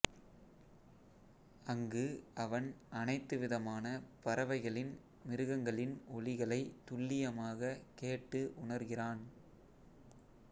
அங்கு அவன் அனைத்துவிதமான பறவைகளின் மிருகங்களின் ஒலிகளை துள்ளியமாக கேட்டு உணர்கிறான்